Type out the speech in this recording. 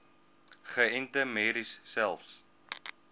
geënte merries selfs